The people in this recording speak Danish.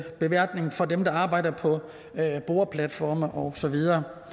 beværtning for dem der arbejder på boreplatforme og så videre